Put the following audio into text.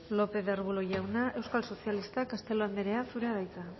ruiz de arbulo jauna euskal sozialistak castelo andrea zurea da hitza